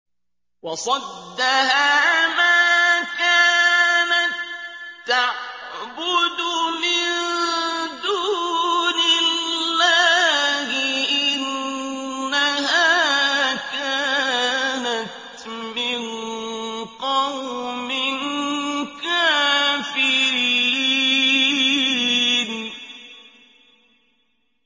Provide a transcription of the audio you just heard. وَصَدَّهَا مَا كَانَت تَّعْبُدُ مِن دُونِ اللَّهِ ۖ إِنَّهَا كَانَتْ مِن قَوْمٍ كَافِرِينَ